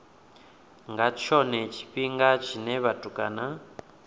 vha tshone tshifhinga tshine vhatukana